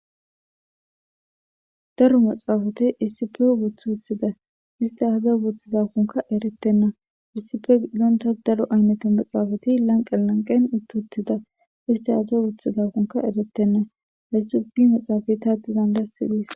Darro maxafeta issiffe wothida ista aybas wotbidakko erethena darro mathafeti wothidaysa besses.